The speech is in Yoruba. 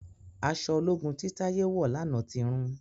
Aṣọ ológun tí Taye wọ lànà tí rún